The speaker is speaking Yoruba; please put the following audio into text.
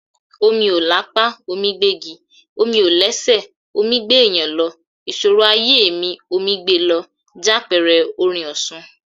"Omi ò lápá, omí gbégi, omi ò lẹ́sẹ̀, omí gbéèyàn lọ, ìṣòro ayé mi, omí gbe lọ," jápẹẹrẹ orin Òṣun.